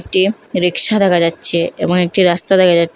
একটি রিকশা দেখা যাচ্ছে এবং একটি রাস্তা দেখা যাচ্ছে।